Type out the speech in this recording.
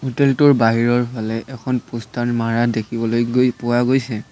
Hotel টোৰ বাহিৰৰ ফালে এখন প'ষ্টাৰ মাৰা দেখিবলৈ গৈ পোৱা গৈছে।